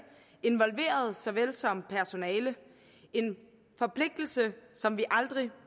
involverede såvel som personale en forpligtelse som vi aldrig